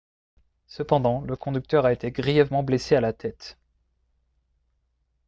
cependant le conducteur a été grièvement blessé à la tête